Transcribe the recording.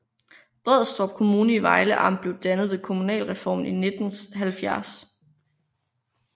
Brædstrup Kommune i Vejle Amt blev dannet ved kommunalreformen i 1970